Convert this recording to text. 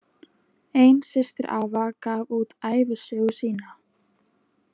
Ein systir afa gaf út ævisögu sína.